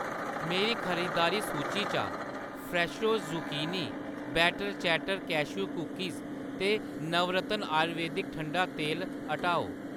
मेरी खरीदारी सूची चा फ्रैशो zucchini , better chatter cashew cookies ते नवरत्न आयुर्वेदक ठंडा तेल हटाओ।